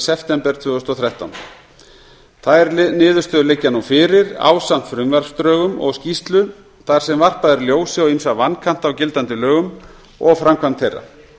september tvö þúsund og þrettán þær niðurstöður liggja nú fyrir ásamt frumvarpsdrögum og skýrslu þar sem varpað er ljósi á ýmsa vankanta á gildandi lögum og framkvæmd þeirra